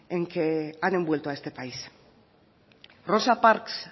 en que han envuelto a este país rosa parks